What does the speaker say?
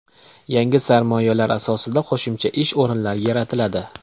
Yangi sarmoyalar asosida qo‘shimcha ish o‘rinlari yaratiladi.